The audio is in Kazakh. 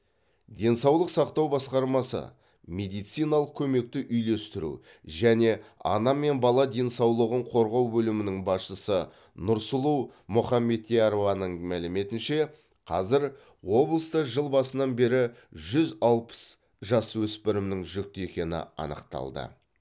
денсаулық сақтау басқармасы медициналық көмекті үйлестіру және ана мен бала денсаулығын қорғау бөлімінің басшысы нұрсұлу мұхамбетярованың мәліметінше қазір облыста жыл басынан бері жүз алпыс жасөспірімнің жүкті екені анықталған